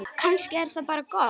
Kannski er það bara gott.